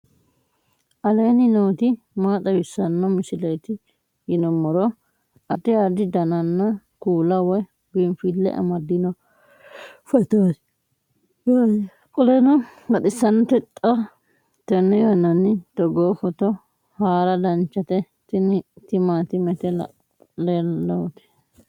aleenni nooti maa xawisanno misileeti yinummoro addi addi dananna kuula woy biinfille amaddino footooti yaate qoltenno baxissannote xa tenne yannanni togoo footo haara danchate tini timaatimete laalooti